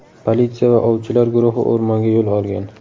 Politsiya va ovchilar guruhi o‘rmonga yo‘l olgan.